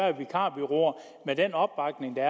at vikarbureauer med den opbakning der